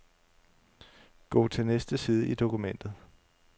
Gå til næste side i dokumentet.